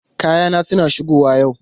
Kayana suna shigowa yau.